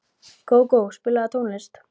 Gógó, spilaðu tónlist.